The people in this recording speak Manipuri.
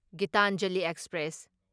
ꯒꯤꯇꯥꯟꯖꯂꯤ ꯑꯦꯛꯁꯄ꯭ꯔꯦꯁ